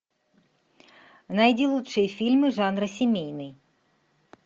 найди лучшие фильмы жанра семейный